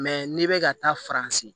n'i bɛ ka taa faransi